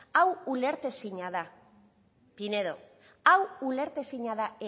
hau ulertezina da pinedo hau ulertezina da